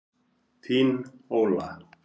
Þín, Óla.